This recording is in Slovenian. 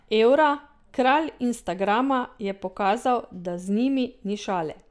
Evra, kralj instagrama, je pokazal, da z njimi ni šale.